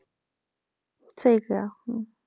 ਠੀਕ ਹੈ ਹਮ